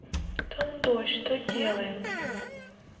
там дождь что делаем